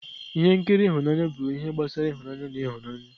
Ihe nkiri ịhụnanya bụ ihe gbasara ịhụnanya na ihunanya